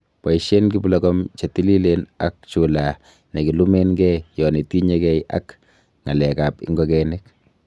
Boishen kiplogom chetililen ak chulaa nekilumengee yon itinyegee ak ngalek ab ingokenik